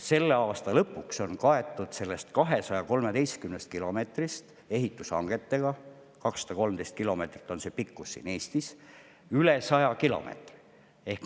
Selle aasta lõpuks on sellest 213 kilomeetrist kaetud ehitushangetega – 213 kilomeetrit on pikkus siin Eestis – üle 100 kilomeetri.